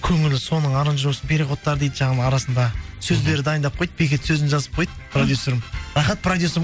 көңілі соның аранжироваксын переходтары дейді жаңағы арасында сөздері дайындап қойды бекет сөзін жазып қойды продюсерім рахат проюсерім